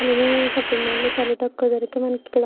అలానే shopping mall లో చాలా తక్కువ ధరకే మనకిక్కడ --